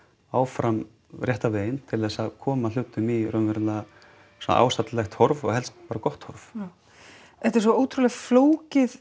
áfram rétta veginn til þess að koma hlutum í svona ásættanlegt horf og helst bara gott horf já þetta er svo ótrúleg flókið